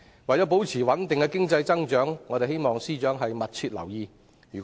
為保持穩定的經濟增長，我們希望司長密切留意局勢。